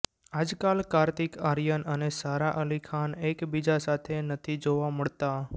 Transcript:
આજકાલ કાર્તિક આર્યન અને સારા અલી ખાન એકબીજા સાથે નથી જોવા મળતાં